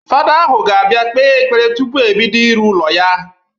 Fada ahụ ga-abịa kpee ekpere tụpụ ebido ịrụ ụlọ ya